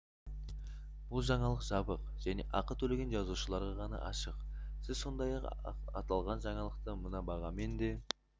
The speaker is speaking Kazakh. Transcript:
бұл жаңалық жабық және ақы төлеген жазылушыларға ғана ашық сіз сондай-ақ аталған жаңалықты мына бағамен де